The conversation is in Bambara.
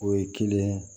O ye kelen ye